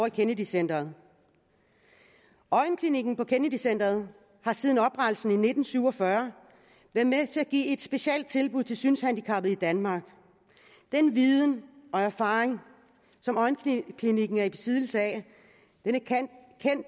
i kennedy centret øjenklinikken på kennedy centret har siden oprettelsen i nitten syv og fyrre været med til at give et specielt tilbud til synshandicappede i danmark den viden og erfaring som øjenklinikken er i besiddelse af